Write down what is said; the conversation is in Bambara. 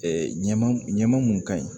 ɲama ɲama mun ka ɲi